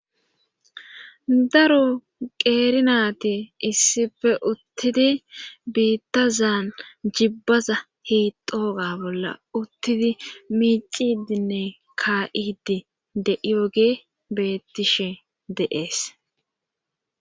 daro qeerinati issife uttidi biitta zaan jibbaza hixooga bolla uttidi miicidinne kaa7idi de7iyoge beettishe deees